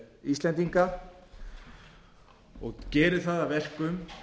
íslendinga og gerir það að verkum